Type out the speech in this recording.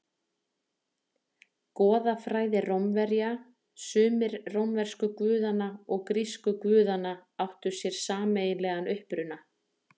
Goðafræði Rómverja Sumir rómversku guðanna og grísku guðanna áttu sér sameiginlegan uppruna.